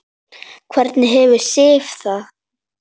Hvernig hefur Sif það?